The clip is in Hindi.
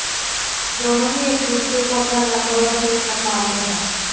दोनों ही एक दूसरे को अपना नंबर वन दुशमन मानते है